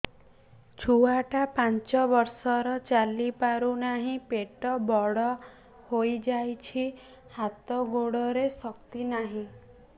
ଛୁଆଟା ପାଞ୍ଚ ବର୍ଷର ଚାଲି ପାରୁ ନାହି ପେଟ ବଡ଼ ହୋଇ ଯାଇଛି ହାତ ଗୋଡ଼ରେ ଶକ୍ତି ନାହିଁ